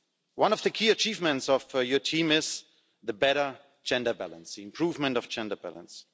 One of the key achievements of your team is the better gender balance the improvement of gender balance.